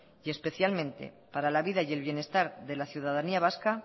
y especialmente para la vida y el bienestar de la ciudadanía vasca